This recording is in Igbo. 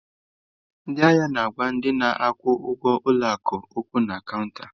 Ndị ahịa na-agwa ndị na-akwụ ụgwọ ụlọ akụ okwu na cọunta.